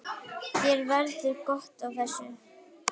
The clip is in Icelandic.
Þér verður gott af þessu